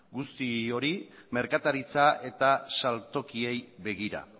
guzti hori merkataritza eta saltokiei begira